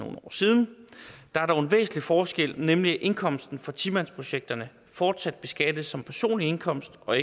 år siden der er dog en væsentlig forskel nemlig at indkomsten for ti mandsprojekterne fortsat beskattes som personlig indkomst og